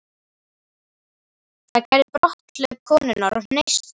Það gerði brotthlaup konunnar og hneisan.